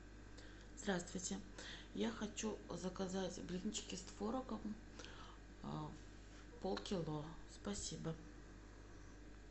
здравствуйте я хочу заказать блинчики с творогом полкило спасибо